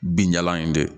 Binjalan in de